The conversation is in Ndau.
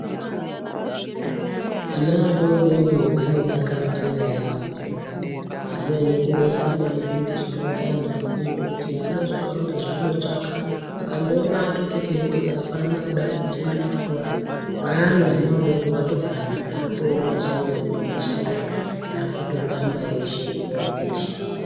Ana adori dori anodakarirana yaambo. Haanyanyi kunesana maningi zvinoita anhu akuru ngekuti haana zvakawanda zvaanotsvaka. Akandoona atopfeke hembe dzakafanana kudai achiende kuchikora kwaari wana adoko atofanana. Atoo mashamwari nemashamwari, akutotamba eshe, nguva dzeshe.